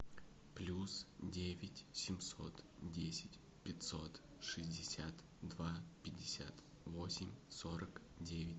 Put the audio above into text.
плюс девять семьсот десять пятьсот шестьдесят два пятьдесят восемь сорок девять